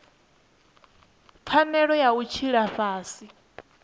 pfanelo ya u tshila fhasi